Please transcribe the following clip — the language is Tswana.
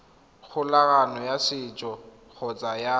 kgolagano ya setso kgotsa ya